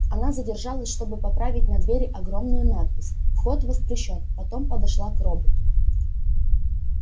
она задержалась чтобы поправить на двери огромную надпись вход воспрещён потом подошла к роботу